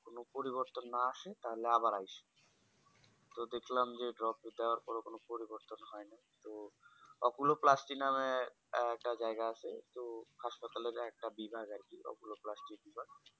কোনো পরিবর্তন না আসে তাহলে আবার আইসো তো দেখলাম যে Drop দুটা দেবার পর ও কোনো পরিবর্তন হয়নি তো opulo-plasti নামে একটা জায়গা আছে তো হাসপাতালে একটা বিরাজ আরকি ওগুলো apollo plasti